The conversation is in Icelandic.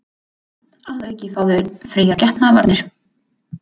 Að auki fá þau fríar getnaðarvarnir